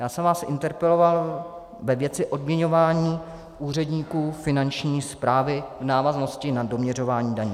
Já jsem vás interpeloval ve věci odměňování úředníků Finanční správy v návaznosti na doměřování daní.